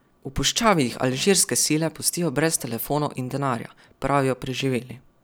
V puščavi jih alžirske sile pustijo brez telefonov in denarja, pravijo preživeli.